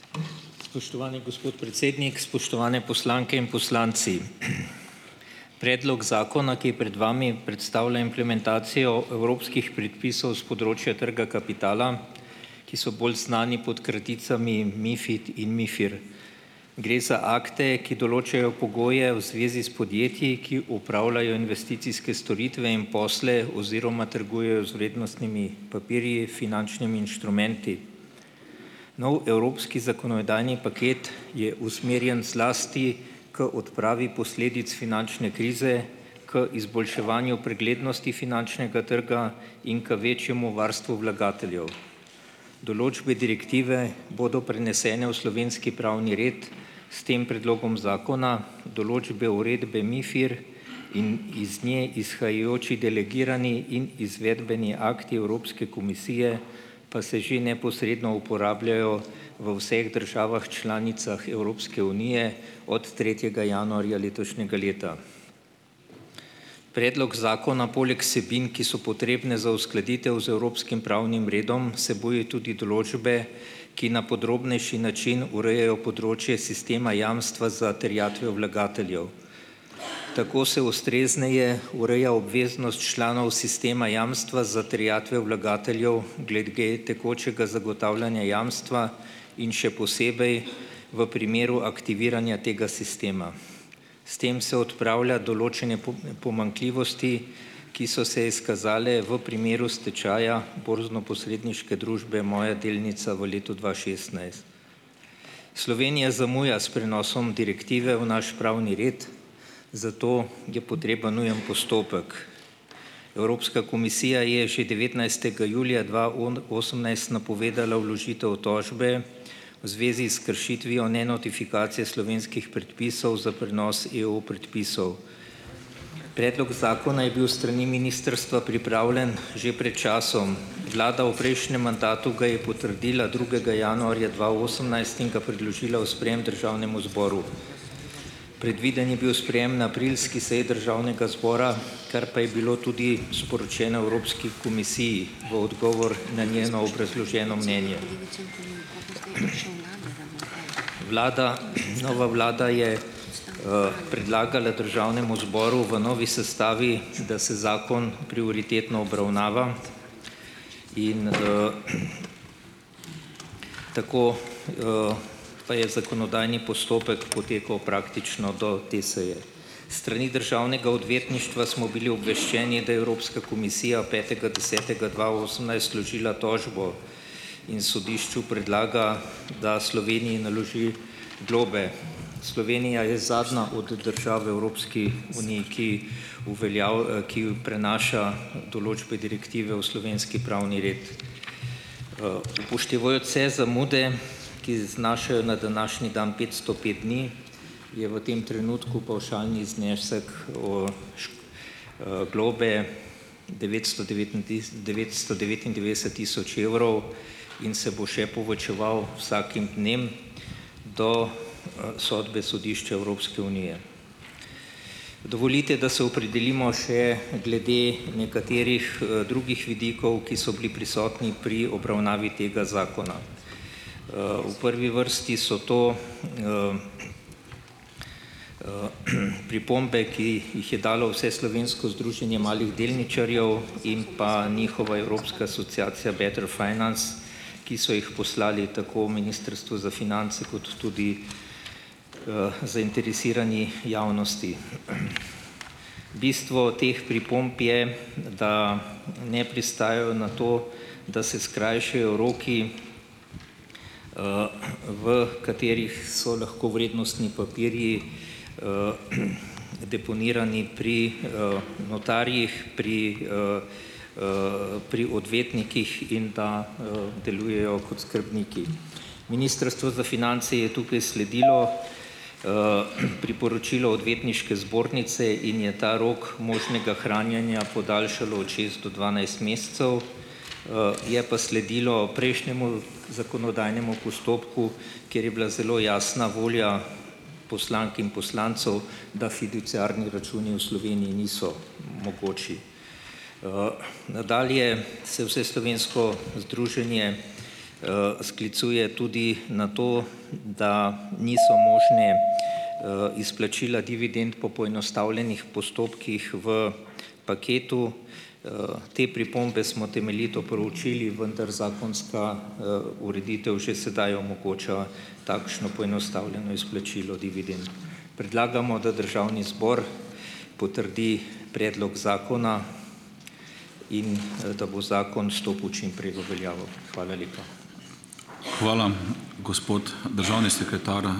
Spoštovani gospod predsednik, spoštovane poslanke in poslanci! Predlog zakona, ki je pred vami, predstavlja implementacijo evropskih predpisov s področja trga kapitala, ki so bolj znani pod kraticami MiFID in MiFIR. Gre za akte, ki določajo pogoje v zvezi s podjetji, ki opravljajo investicijske storitve in posle oziroma trgujejo z vrednostnimi papirji, finančnimi inštrumenti. Nov evropski zakonodajni paket je usmerjen zlasti k odpravi posledic finančne krize, k izboljševanju preglednosti finančnega trga in k večjemu varstvu vlagateljev. Določbe direktive bodo prenesene v slovenski pravni red s tem predlogom zakona, določbe, uredbe MiFIR in iz nje izhajajoči delegirani in izvedbeni akti Evropske komisije pa se že neposredno uporabljajo v vseh državah članicah Evropske unije od tretjega januarja letošnjega leta. Predlog zakona poleg vsebin, ki so potrebne za uskladitev z evropskim pravnim redom, vsebuje tudi določbe, ki na podrobnejši način urejajo področje sistema jamstva za terjatve vlagateljev. Tako se ustrezneje ureja obveznost članov sistema jamstva za terjatve vlagateljev glede tekočega zagotavljanja jamstva in še posebej v primeru aktiviranja tega sistema. S tem se odpravlja določene pomanjkljivosti, ki so se izkazale v primeru stečaja borznoposredniške družbe Moja delnica v letu dva šestnajst. Slovenija zamuja s prenosom direktive v naš pravni red, zato je potreben nujni postopek. Evropska komisija je že devetnajstega julija dva osemnajst napovedala vložitev tožbe v zvezi s kršitvijo nenotifikacije slovenskih predpisov za prenos EU predpisov. Predlog zakona je bil s strani ministrstva pripravljen že pred časom. Vlada v prejšnjem mandatu ga je potrdila drugega januarja dva osemnajst in ga predložila v sprejem Državnemu zboru. Predviden je bil sprejem na aprilski seji Državnega zbora, kar pa je bilo tudi sporočeno Evropski komisiji v odgovor na njeno obrazloženo mnenje. Vlada, nova Vlada je predlagala Državnemu zboru v novi sestavi, da se zakon prioritetno obravnava, in tako pa je zakonodajni postopek potekal praktično do te seje. S strani Državnega odvetništva smo bili obveščeni, da je Evropska komisija petega desetega dva osemnajst vložila tožbo in sodišču predlaga, da Sloveniji naloži globe. Slovenija je zadnja od držav v Evropski uniji, ki ki prenaša določbe direktive v slovenski pravni red. Upoštevajoč vse zamude, ki znašajo na današnji dan petsto pet dni, je v tem trenutku pavšalni znesek šk globe devetsto devetntis devetsto devetindevetdeset tisoč evrov in se bo še povečeval vsakim dnem do sodbe Sodišča Evropske unije. Dovolite, da se opredelimo še glede nekaterih drugih vidikov, ki so bili prisotni pri obravnavi tega zakona. V prvi vrsti so to pripombe, ki jih jih je dalo Vseslovensko združenje malih delničarjev in pa njihova evropska asociacija Better Finance, ki so jih poslali tako Ministrstvu za finance kot tudi zainteresirani javnosti. Bistvo teh pripomb je, da ne pristajajo na to, da se skrajšajo roki, v katerih so lahko vrednostni papirji deponirani pri notarjih pri pri odvetnikih in da delujejo kot skrbniki. Ministrstvo za finance je tukaj sledilo priporočilo Odvetniške zbornice in je ta rok možnega hranjenja podaljšalo od šest do dvanajst mesecev. Je pa sledilo prejšnjemu zakonodajnemu postopku, kjer je bila zelo jasna volja poslank in poslancev, da fiduciarni računi v Sloveniji niso mogoči. Nadalje se Vseslovensko združenje sklicuje tudi na to, da niso možne izplačila dividend po poenostavljenih postopkih v paketu. Te pripombe smo temeljito proučili, vendar zakonska ureditev že sedaj omogoča takšno poenostavljeno izplačilo dividend. Predlagamo, da Državni zbor potrdi predlog zakona in da bo zakon stopil čim prej v veljavo. Hvala lepa.